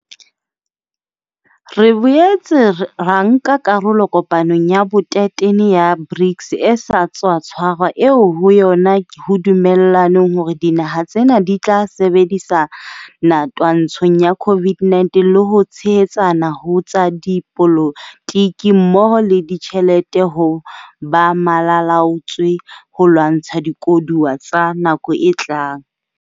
Re boetse ra nka karolo kopanong ya bo 13 ya BRICS e sa tswa tshwarwa eo ho yona ho dumellanweng hore dinaha tsena di tla sebedisana twantshong ya COVID-19 le ho tshehetsana ho tsa dipolo tiki mmoho le ditjhelete ho ba malala-a-laotswe ho lwantsha dikoduwa tsa nakong e tlang.